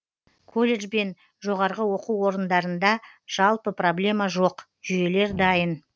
колледж бен жоғарғы оқу орындарында жалпы проблема жок жүйелер дайын